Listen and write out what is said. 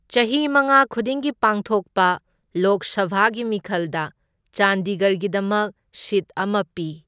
ꯆꯍꯤ ꯃꯉꯥ ꯈꯨꯗꯤꯡꯒꯤ ꯄꯥꯡꯊꯣꯛꯄ ꯂꯣꯛ ꯁꯚꯥꯒꯤ ꯃꯤꯈꯜꯗ ꯆꯟꯗꯤꯒꯔꯒꯤꯗꯃꯛ ꯁꯤꯠ ꯑꯃ ꯄꯤ꯫